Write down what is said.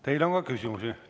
Teile on ka küsimusi.